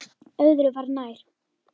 Öðru var nær.